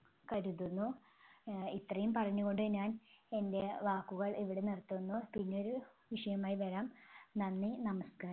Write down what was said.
കരുതുന്നു. ആഹ് ഇത്രയും പറഞ്ഞുകൊണ്ട് ഞാൻ എൻ്റെ വാക്കുകൾ ഇവിടെ നിർത്തുന്നു. പിന്നൊരു വിഷയമായി വരാം. നന്ദി, നമസ്‌കാരം.